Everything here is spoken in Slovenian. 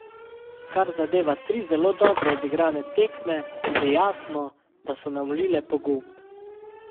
Kar zadeva tri zelo dobro odigrane tekme, je jasno, da so nam vlile pogum.